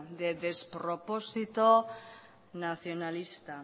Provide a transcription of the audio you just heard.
de despropósito nacionalista